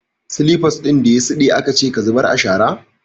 Slippers din da ya siɗe akace ka zubar a shara!